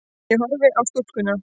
Ég horfi á stúlkuna.